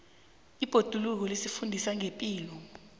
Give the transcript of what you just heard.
ibhoduluko lisifundisa ngepilo